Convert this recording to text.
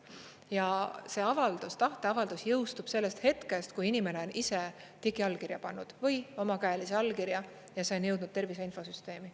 Ja see avaldus, tahteavaldus, jõustub sellest hetkest, kui inimene on ise digiallkirja pannud või omakäelise allkirja ja see on jõudnud tervise infosüsteemi.